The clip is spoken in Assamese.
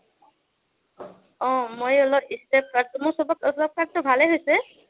অ' মই অলপ step cut টো, মোৰ চব কাটে ভাল হৈছে,